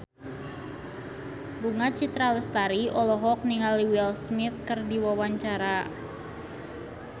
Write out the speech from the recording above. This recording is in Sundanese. Bunga Citra Lestari olohok ningali Will Smith keur diwawancara